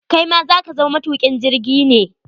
Kai ma za ka zama matukin jirgi ne?